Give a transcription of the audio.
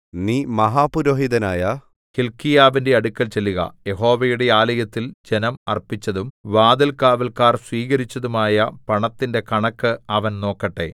നീ മഹാപുരോഹിതനായ ഹില്ക്കീയാവിന്റെ അടുക്കൽ ചെല്ലുക യഹോവയുടെ ആലയത്തിൽ ജനം അർപ്പിച്ചതും വാതിൽകാവല്ക്കാർ സ്വീകരിച്ചതുമായ പണത്തിന്റെ കണക്ക് അവൻ നോക്കട്ടെ